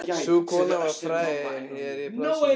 Sú kona var fræg hér í plássinu.